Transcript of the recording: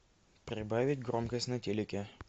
прибавить громкость на телике